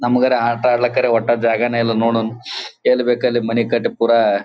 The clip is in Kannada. ನಮ್ಮಗರ ಆಟ ಆಡ್ಲಿಕ್ ವಟ್ಟ ಜಾಗನೇ ಇಲ್ಲಾ ನೋಡನ್ ಎಲ್ಲ್ ಬೇಕಲ್ಲಿ ಮನಿ ಕಟ್ಟಿ ಪುರ.